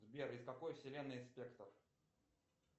сбер из какой вселенной спектр